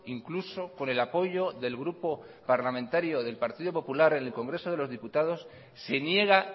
incluso con el apoyo del grupo parlamentario del partido popular en el congreso de los diputados se niega